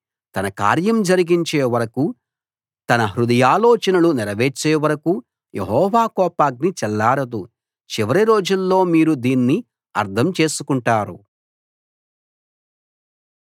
తన కార్యం జరిగించే వరకూ తన హృదయాలోచనలు నెరవేర్చే వరకూ యెహోవా కోపాగ్ని చల్లారదు చివరి రోజుల్లో మీరు దీన్ని అర్థం చేసుకుంటారు